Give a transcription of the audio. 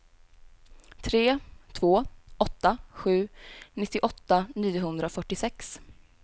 tre två åtta sju nittioåtta niohundrafyrtiosex